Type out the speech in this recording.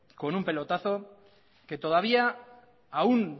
con un pelotazo que todavía aún